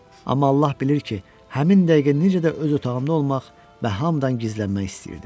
Amma Allah bilir ki, həmin dəqiqə necə də öz otağımda olmaq və hamıdan gizlənmək istəyirdim.